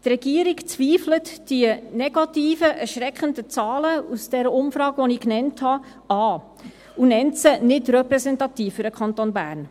Die Regierung zweifelt die negativen, erschreckenden Zahlen aus der genannten Umfrage an und nennt sie nicht repräsentativ für den Kanton Bern.